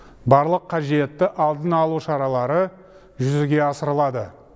барлық қажетті алдын алу шаралары жүзеге асырылады